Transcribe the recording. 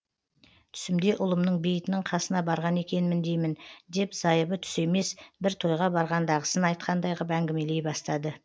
түсімде ұлымның бейітінің қасына барған екенмін деймін деп зайыбы түсі емес бір тойға барғандағысын айтқандай ғып әңгімелей бастады